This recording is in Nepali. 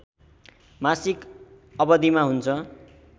मासिक अवधिमा हुन्छ।